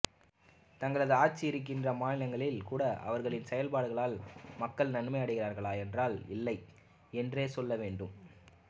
தங்களது ஆட்சி இருக்கின்ற மாநிலங்களில் கூட அவர்களின் செயல்பாடுகளால் மக்கள் நன்மை அடைகிறார்களா என்றால் இல்லை என்றே சொல்ல வேண்டும்